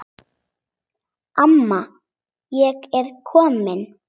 Amma ég er komin